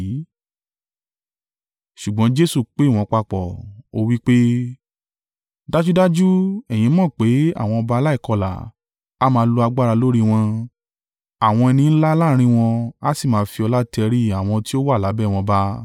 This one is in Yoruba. Ṣùgbọ́n Jesu pé wọ́n papọ̀, ó wí pé, “Dájúdájú, ẹ̀yin mọ̀ pé àwọn ọba aláìkọlà a máa lo agbára lórí wọn, àwọn ẹni ńlá láàrín wọn a sì máa fi ọlá tẹrí àwọn tí ó wà lábẹ́ wọn ba.